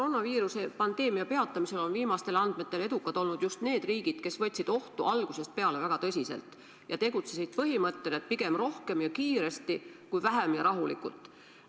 Koroonaviiruse pandeemia peatamisel on viimastel andmetel edukad olnud just need riigid, kes võtsid ohtu algusest peale väga tõsiselt ja tegutsesid põhimõttel, et pigem rohkem ja kiiresti kui vähem ja rahulikult.